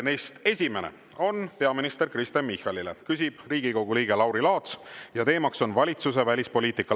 Neist esimene on peaminister Kristen Michalile, küsib Riigikogu liige Lauri Laats ja teemaks on valitsuse välispoliitika.